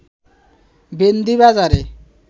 ভেন্দি বাজারে